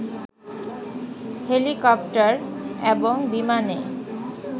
helicopter এবং বিমানে